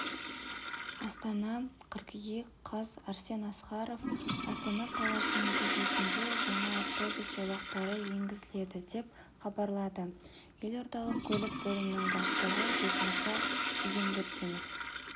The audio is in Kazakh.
істана қыркүйек қаз арсен асқаров астана қаласының көшесінде жаңа автобус жолақтары енгізіледі деп хабарлады елордалық көлік бөлімінің бастығы бекмырза егенбердинов